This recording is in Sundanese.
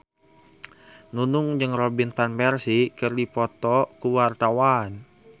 Nunung jeung Robin Van Persie keur dipoto ku wartawan